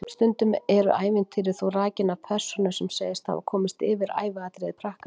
Stundum eru ævintýrin þó rakin af persónu sem segist hafa komist yfir æviatriði prakkarans.